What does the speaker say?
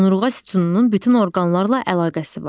Onurğa sütununun bütün orqanlarla əlaqəsi var.